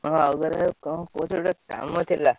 ତମ ପାଖରେ ଗୋଟେ କାମ ଥିଲା।